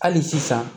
Hali sisan